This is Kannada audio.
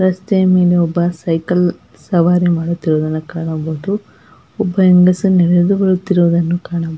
ರಸ್ತೆ ಮೇಲೆ ಒಬ್ಬ ಸೈಕಲ್ ಸವಾರಿ ಮಾಡುತ್ತಿರುವುದನ್ನು ಕಾಣಬಹುದು ಒಬ್ಬ ಹೆಂಗಸು ನಡೆದು ಬರುತ್ತಿರುವುದನ್ನು ಕಾಣಬಹುದು.